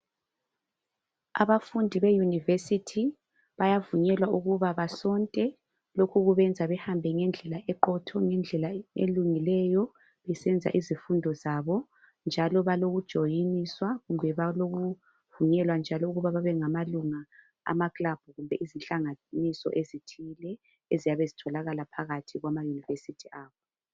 Abafundi be Yunivesithi bayavunywelwa ukuba basonte lokhu kubenza behambe ngendlela eqotho ngendlela elungileyo besenza izifundo zabo njalo balokujoyiniswa kumbe balokuvunyelwa njalo ukuba bebengamalunga amaclub kumbe izihlanganiso ezithile eziyabe zitholakala phakathi kwamaYunivesithi abo.